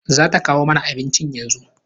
Zata kawo mana abincin yanzu.